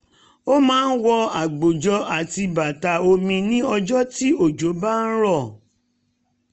ó máa ń wọ agbòjò àti bàtà omi ní ọjọ́ tí òjò bá ń rọ̀